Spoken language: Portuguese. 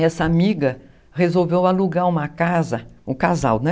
Essa amiga resolveu alugar uma casa, um casal, né?